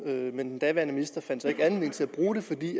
men den daværende minister fandt ikke anledning til at bruge det fordi